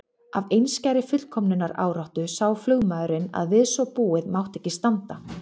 Af einskærri fullkomnunaráráttu sá flugmaðurinn að við svo búið mátti ekki standa.